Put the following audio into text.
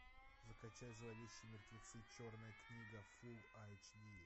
закачай зловещие мертвецы черная книга фул айч ди